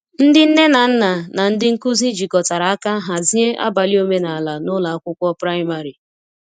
Ndị nne na nna na ndị nkuzi jikọtara aka hazie abalị omenala n’ụlọ akwụkwọ praịmarị.